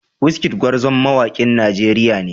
Wizkid gwarzon mawakin Najeriya ne.